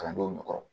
Kalandenw nɛgɛ kɔrɔ